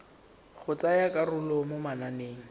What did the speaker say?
go tsaya karolo mo mananeng